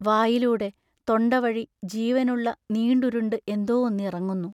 വായിലൂടെ തൊണ്ടവഴി ജീവനുള്ള നീണ്ടുരുണ്ട് എന്തോ ഒന്ന് ഇറങ്ങുന്നു.